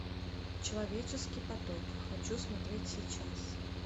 человеческий поток хочу смотреть сейчас